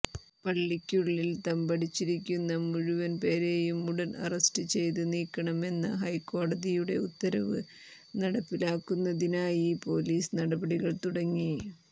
പള്ളിക്കുള്ളിൽ തമ്പടിച്ചിരിക്കുന്ന മുഴുവൻ പേരെയും ഉടൻ അറസ്റ്റ് ചെയ്ത് നീക്കണമെന്ന ഹൈക്കോടതിയുടെ ഉത്തരവ് നടപ്പിലാക്കുന്നതിനായി പൊലീസ് നടപടികൾ തുടങ്ങി